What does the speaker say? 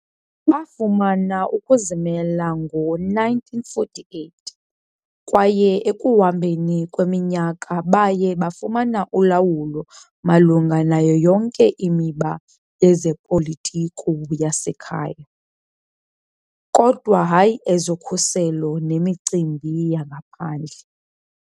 Bafumana ukuzimela ngo-1948 kwaye ekuhambeni kweminyaka baye bafumana ulawulo malunga nayo yonke imiba yezopolitiko yasekhaya, kodwa hayi ezokhuselo nemicimbi yangaphandle.